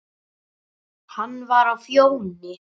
Hann var á Fjóni.